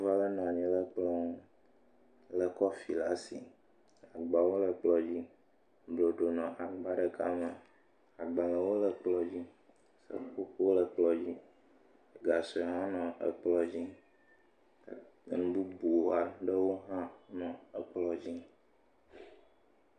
Nyɔnu aɖe nɔ anyi ɖe kplɔ ŋu, lé kɔfi le asi. Agbalẽwo le kplɔ̃ dzi. Nuɖuɖu nɔ agba ɖeka me. agbalẽwo le kplɔ̃ dzi. Enu kukluiwo le ekplɔ̃ dzi. gasue hã le kplɔ̃ dzi. enu bubu aɖewo hã nɔ kplɔ̃ dzi.